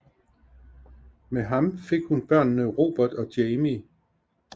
Med ham fik hun børnene Robert og Jamie